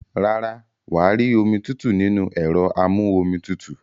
Rárá, wà á rí omi tútù nínú ẹ̀rọ amú-omi tutù.